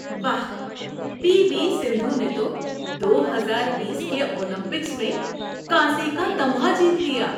واہ، P V Sindhu نے تو دو ہزار بیس کے اولمپکس میں کانسی کا تمغہ جیت لیا۔